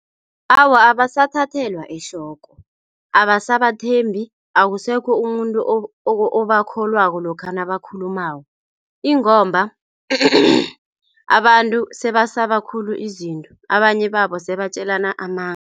Awa, abasathathelwa ehloko, abasabathembi akusekho umuntu obakholwako lokha nabakhulumako ingomba abantu sebasaba khulu izinto abanye babo sebatjelana amanga.